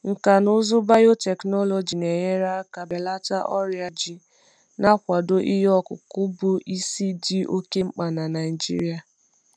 Nkà na ụzụ biotechnology na-enyere aka belata ọrịa ji, na-akwado ihe ọkụkụ bụ bụ isi dị oke mkpa na Naijiria.